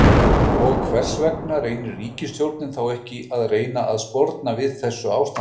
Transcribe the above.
Og hvers vegna reynir ríkisstjórnin þá ekki að reyna að sporna við þessu ástandi?